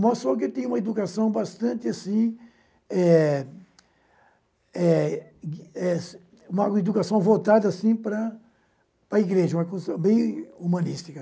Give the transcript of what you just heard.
Mostrou que eu tinha uma educação bastante assim, eh eh eh uma educação voltada assim para para a igreja, uma construção bem humanística.